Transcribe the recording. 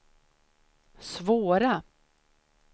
svåra